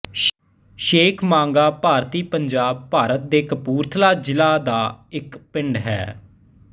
ਸ਼ੇਖ ਮਾਂਗਾ ਭਾਰਤੀ ਪੰਜਾਬ ਭਾਰਤ ਦੇ ਕਪੂਰਥਲਾ ਜ਼ਿਲ੍ਹਾ ਦਾ ਇੱਕ ਪਿੰਡ ਹੈ